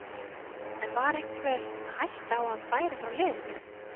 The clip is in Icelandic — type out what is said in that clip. En var einhver hætta á að hann færi frá liðinu?